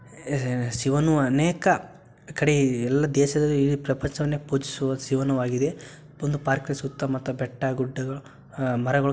ಹೇ ಶಿವನು ಅನೇಕ ಕಡೆ ಎಲ್ಲ ದೇಶದಲ್ಲಿ ಇಡೀ ಪ್ರಪಂಚವನ್ನೇ ಪೂಜಿಸುವ ಶಿವನು ಆಗಿದೆ ಒಂದು ಪಾರ್ಕಿನ ಸುತ್ತಮುತ್ತ ಬೆಟ್ಟ ಗುಡ್ಡಗಳು ಅಹ್ಹ್ ಮರಗಳು --